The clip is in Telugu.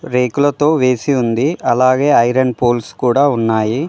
రేకులతో వేసి ఉంది అలాగే ఐరన్ పోల్స్ కూడా ఉన్నాయి.